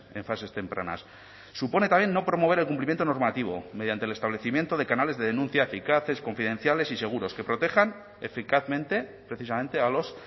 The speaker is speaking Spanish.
en fases tempranas supone también no promover el cumplimiento normativo mediante el establecimiento de canales de denuncia eficaces confidenciales y seguros que protejan eficazmente precisamente a los